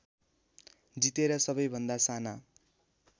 जितेर सबैभन्दा साना